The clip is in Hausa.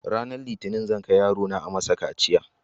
Ranar litinin zan kai yarona ayi masa kaciya.